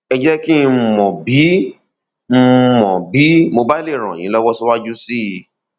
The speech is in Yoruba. ẹ jẹ kí n mọ bí n mọ bí mo bá lè ràn yín lọwọ síwájú sí i